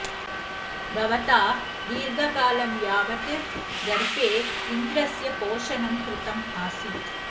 भवता दीर्घकालं यावत् गर्भे इन्द्रस्य पोषणं कृतम् आसीत्